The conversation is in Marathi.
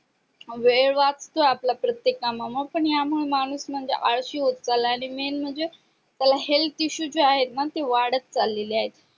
वेळ वाचतोय प्रत्त्येक कामामा या मुळे माणूस म्हणजे आळशी होत चालाय आणि मेन म्हणजे त्याला health issue आहेत ना ते वाढत चालेले आहे